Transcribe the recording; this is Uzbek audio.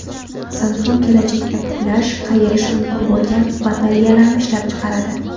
Samsung kelajakda buklash, qayirish mumkin bo‘lgan batareyalarni ishlab chiqaradi.